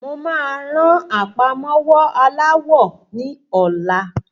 Mo máa ran àpamọ́wọ́ aláwọ ní ọlá.